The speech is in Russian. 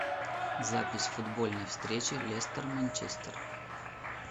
запись футбольной встречи лестер манчестер